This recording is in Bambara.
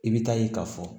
I bɛ taa ye ka fɔ